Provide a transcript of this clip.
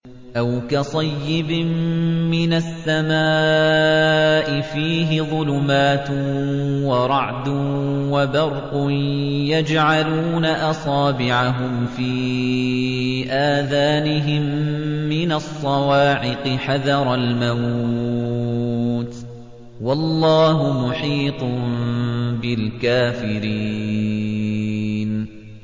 أَوْ كَصَيِّبٍ مِّنَ السَّمَاءِ فِيهِ ظُلُمَاتٌ وَرَعْدٌ وَبَرْقٌ يَجْعَلُونَ أَصَابِعَهُمْ فِي آذَانِهِم مِّنَ الصَّوَاعِقِ حَذَرَ الْمَوْتِ ۚ وَاللَّهُ مُحِيطٌ بِالْكَافِرِينَ